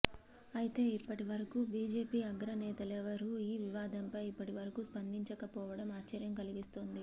అయితే ఇప్పటి వరకూ బీజేపీ అగ్రనేతలెవరూ ఈ వివాదంపై ఇప్పటివరకూ స్పందించకపోవడం ఆశ్చర్యం కలిగిస్తోంది